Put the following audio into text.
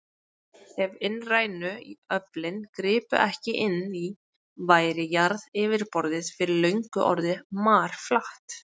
Ef innrænu öflin gripu ekki inn í, væri jarðaryfirborðið fyrir löngu orðið marflatt.